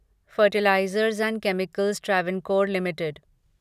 fertilisers and chemicals Travancore limited